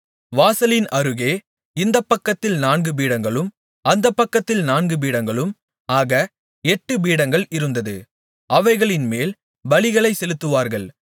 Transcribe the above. வாசலின் அருகே இந்தப் பக்கத்தில் நான்கு பீடங்களும் அந்தப் பக்கத்தில் நான்கு பீடங்களும் ஆக எட்டுப்பீடங்கள் இருந்தது அவைகளின்மேல் பலிகளைச் செலுத்துவார்கள்